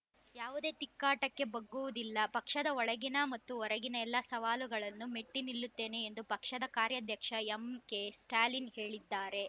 ಯಾವುದೇ ತಿಕ್ಕಾಟಕ್ಕೆ ಬಗ್ಗುವುದಿಲ್ಲ ಪಕ್ಷದ ಒಳಗಿನ ಮತ್ತು ಹೊರಗಿನ ಎಲ್ಲ ಸವಾಲುಗಳನ್ನೂ ಮೆಟ್ಟಿನಿಲ್ಲುತ್ತೇನೆ ಎಂದು ಪಕ್ಷದ ಕಾರ್ಯಾಧ್ಯಕ್ಷ ಎಂಕೆ ಸ್ಟಾಲಿನ್‌ ಹೇಳಿದ್ದಾರೆ